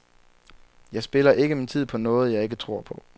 Jeg spilder ikke min tid på noget, jeg ikke tror på.